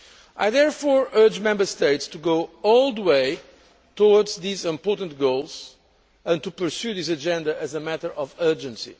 I therefore urge Member States to go all the way towards these important goals and to pursue this agenda as a matter of urgency.